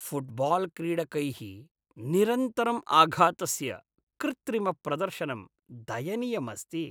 फ़ुट्बाल्क्रीडकैः निरन्तरं आघातस्य कृत्रिमप्रदर्शनं दयनीयम् अस्ति।